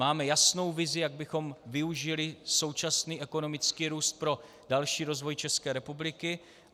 Máme jasnou vizi, jak bychom využili současný ekonomický růst pro další rozvoj České republiky.